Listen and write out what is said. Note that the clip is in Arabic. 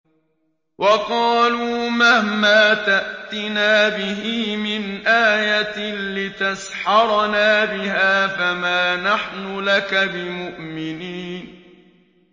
وَقَالُوا مَهْمَا تَأْتِنَا بِهِ مِنْ آيَةٍ لِّتَسْحَرَنَا بِهَا فَمَا نَحْنُ لَكَ بِمُؤْمِنِينَ